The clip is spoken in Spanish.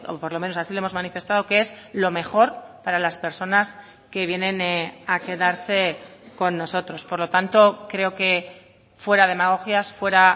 por lo menos así lo hemos manifestado que es lo mejor para las personas que vienen a quedarse con nosotros por lo tanto creo que fuera demagogias fuera